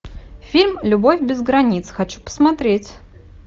фильм любовь без границ хочу посмотреть